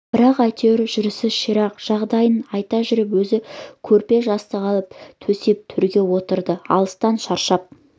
бірақ әйтеуір жүрісі ширақ жағдайын айта жүріп өзі көрпе жастық алып төсеп төрге отырды алыстан шаршап